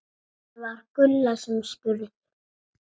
Það var Gulla sem spurði.